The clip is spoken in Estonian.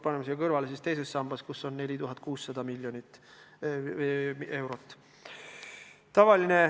Paneme siia kõrvale teise samba, kus on 4,6 miljardit eurot.